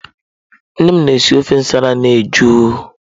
Nne m na-esi ofe nsala na ejụụ.